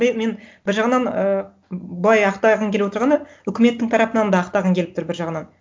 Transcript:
мен бір жағынан ы былай ақтағым келіп отырғаны үкіметтің тарапынан да ақтағым келіп тұр бір жағынан